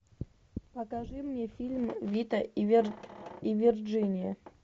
покажи мне фильм вита и вирджиния